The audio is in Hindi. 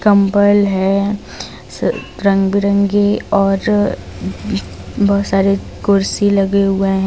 कंबल है रंग बिरंगे और बहोत सारे कुर्सी लगे हुए--